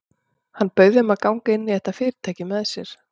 Hann bauð þeim að ganga inn í þetta fyrirtæki með sér.